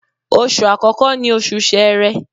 Oṣù àkọ́kọ́ ni Oṣù Sẹẹ̀rẹ